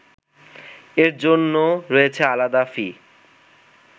এর জন্যও রয়েছে আলাদা ফি